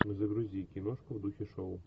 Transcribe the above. загрузи киношку в духе шоу